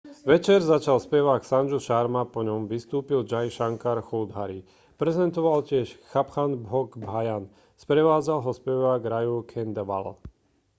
večer začal spevák sanju sharma po ňom vystúpil jai shankar choudhary prezentoval tiež chhappan bhog bhajan sprevádzal ho spevák raju khandelwal